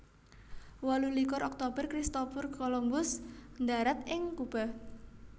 Wolu likur Oktober Christopher Columbus ndharat ing Kuba